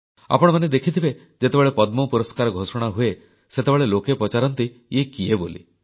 ଆପଣମାନେ ଦେଖିଥିବେ ଯେତେବେଳେ ପଦ୍ମ ପୁରସ୍କାର ଘୋଷଣା ହୁଏ ସେତେବେଳେ ଲୋକେ ପଚାରନ୍ତି ଇଏ କିଏ ବୋଲି